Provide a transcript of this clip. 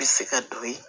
Bɛ se ka don yen